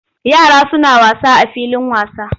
Yara suna wasa a filin wasa.